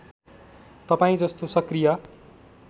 तपाईँ जस्तो सक्रिय